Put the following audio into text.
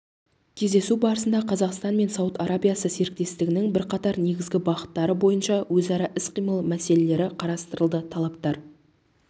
кездесу барысында қазақстан мен сауд арабиясы серіктестігінің бірқатар негізгі бағыттары бойынша өзара іс-қимыл мәселелері қарастырылды тараптар